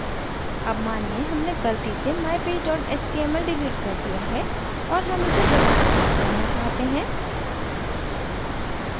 अब मानिए हमने गलती से mypage html डिलीट कर दिया है और हम इसे दोबारा प्राप्त करना चाहते हैं